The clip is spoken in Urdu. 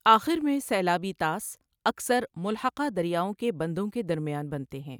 آخر میں سیلابی طاس اکثر ملحقہ دریاؤں کے بندوں کے درمیان بنتے ہیں۔